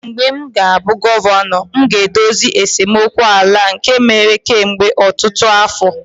mgbe m ga-abụ gọvanọ, m ga-edozi esemokwu ala a nke mere kemgbe ọtụtụ afọ